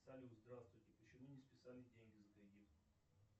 салют здравствуйте почему не списались деньги за кредит